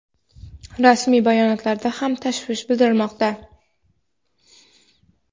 rasmiy bayonotlarda ham tashvish bildirmoqda.